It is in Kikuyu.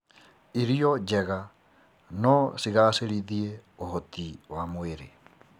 Irio njega no cigacĩrithie ũhoti wa mwĩrĩ.